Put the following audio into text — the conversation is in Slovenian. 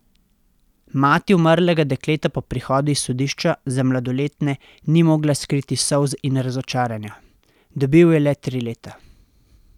Mati umrlega dekleta po prihodu iz sodišča za mladoletne ni mogla skriti solz in razočaranja: "Dobil je le tri leta...